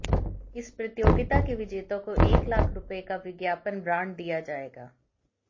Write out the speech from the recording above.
इस प्रतियोगिता के विजेता को एक लाख रुपए का विज्ञापन ब्रांड दिया जाएगा